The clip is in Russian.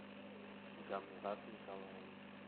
гамзат николаевич